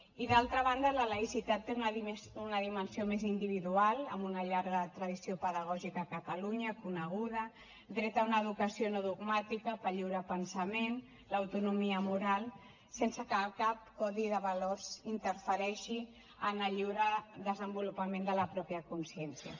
i d’altra banda la laïcitat té una dimensió més individual amb una llarga tradició pedagògica a catalunya coneguda dret a una educació no dogmàtica pel lliure pensament l’autonomia moral sense que cap codi de valors interfereixi en el lliure desenvolupament de la mateixa consciència